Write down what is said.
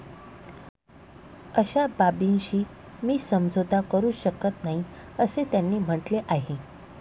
अशा बाबींशी मी समझोता करू शकत नाही, असे त्यांनी म्हटले आहे.